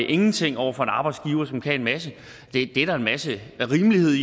ingenting over for en arbejdsgiver som kan en masse det er der en masse rimelighed